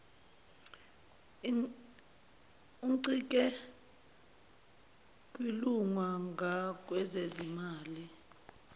uncike kwilunga ngakwezezimali